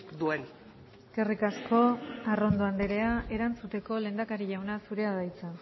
duen eskerrik asko arrondo anderea erantzuteko lehendakari jauna zurea da hitza